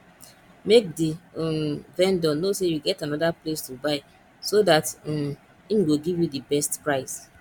make di um vendor know sey you get anoda place to buy so dat um im go give you di best price